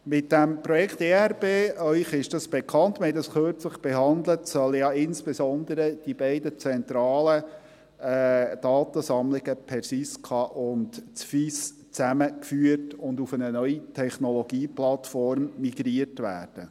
Mit dem Projekt ERP – dieses ist Ihnen bekannt, wir haben es kürzlich behandelt – sollen ja insbesondere die beiden zentralen Datensammlungen Persiska und FIS zusammengeführt und auf eine neue Technologieplattform migriert werden.